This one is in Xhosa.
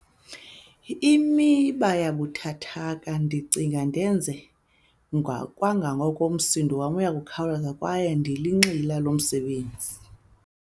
Imiba yobuthathaka- Ndicinga ndenze kwangoko, umsindo wam uyakhawuleza kwaye ndilinxila lomsebenzi.